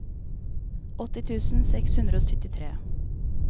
åtti tusen seks hundre og syttitre